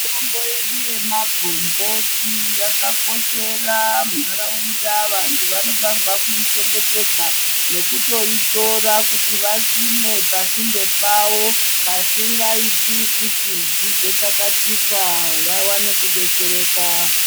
Mitombo yedu yemagomboti yakakoshera ntaraunda. Vantu vanofanire kutoi chengetedza nekutoitora kuti vasime pasinde pawo pasingaiti kuti izotsakatika vawane kudetsereka.